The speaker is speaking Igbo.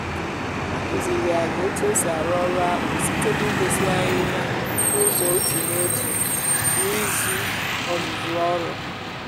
ha kụziri anyị otu esi arụ ọrụ akpụ site n’ịgosi anyị ya n’ụzọ otu n’otu n’izu ọzụzụ ọrụ.